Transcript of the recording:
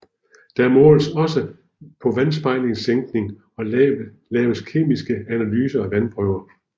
Der måles også på vandspejlssænkning og laves kemiske analyser af vandprøver